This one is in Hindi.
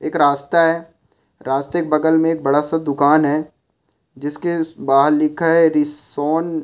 एक रस्ता है रास्ते के बगल में एक बड़ा सा दुकान है जिसके बाहर लिखा है रीसोन।